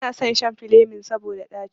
Banason shan filemin saboda ɗaci.